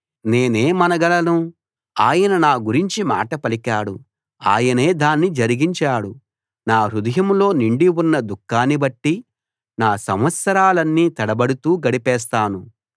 నేనేమనగలను ఆయన నా గురించి మాట పలికాడు ఆయనే దాన్ని జరిగించాడు నా హృదయంలో నిండి ఉన్న దుఃఖాన్ని బట్టి నా సంవత్సరాలన్నీ తడబడుతూ గడిపేస్తాను